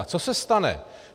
A co se stane?